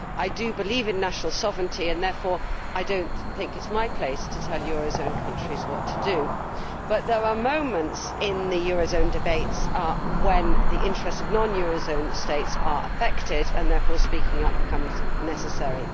I do believe in national sovereignty, therefore I do not think it is my place to tell euro area countries what to do. But there are moments in the euro area debates when the interests of non euro area states are affected, and therefore speaking up becomes necessary.